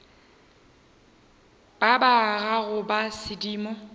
ba ba gago ba sedimo